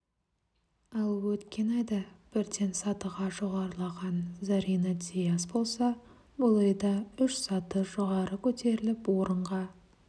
ал өткен айда бірден сатыға жоғарылаған зарина дияс болса бұл айда үш саты жоғары көтеріліп орынға